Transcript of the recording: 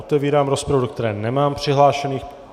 Otevírám rozpravu, do které nemám přihlášených.